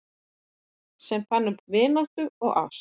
Sem fann upp vináttu og ást